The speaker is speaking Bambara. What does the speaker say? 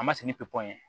A ma sigi ni pepupuyew ye